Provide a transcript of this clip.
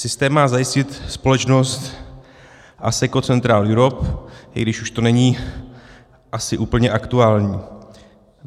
Systém má zajistit společnost Asseco Central Europe, i když to už není asi úplně aktuální.